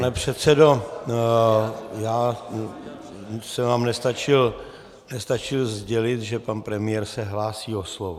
Pane předsedo, já jsem vám nestačil sdělit, že pan premiér se hlásí o slovo.